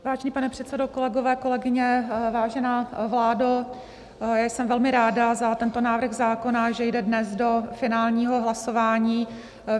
Vážený pane předsedo, kolegové, kolegyně, vážená vládo, jsem velmi ráda za tento návrh zákona, že jde dnes do finálního hlasování.